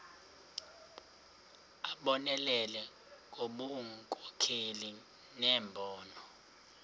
abonelele ngobunkokheli nembono